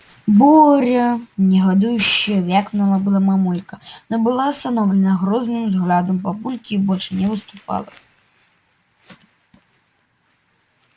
боря негодующе вякнула было мамулька но была остановлена грозным взглядом папульки и больше не выступала